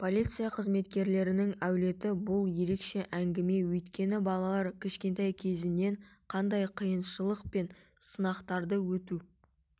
полиция қызметкерлерінің әулеті бұл ерекше әңгіме өйткені балалар кішкентай кездерінен қандай қиыншылық пен сынақтарды өту